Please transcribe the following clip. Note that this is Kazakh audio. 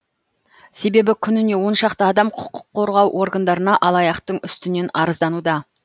себебі күніне он шақты адам құқық қорғау органдарына алаяқтың үстінен арыздануда